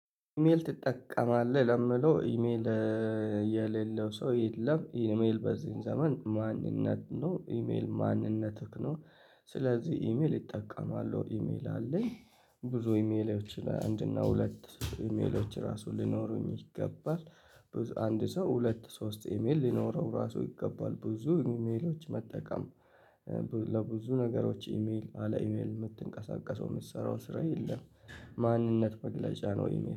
ኢሜል ትጠቀማለህ ለምለው ኢሜል የሌለው ሰው የለም ኢሜል በዚህን ዘመን ማንነት ነው ኢሜል ማንነትህ ነው። ስለዚህ ኢሜል ይጠቀማለሁ ኢሜል አለኝ። ብዙ ኢሜሎች ላይ አንድ እና ሁለት ኢሜሎች ራሱ ሊኖሩኝ ይገባል። አንድ ሰው ሁለት ሶስት ኢሜል ሊኖረው ራሱ ይገባል ብዙ ኢሜሎች መጠቀም። ለብዙ ነገሮች ኢሜል አለ ኢሜል የምትንቀሳቀሰው የምትሰራው ስራ የለም። ማንነት መግለጫ ነው ኢሜል